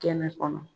Kɛnɛ kɔnɔ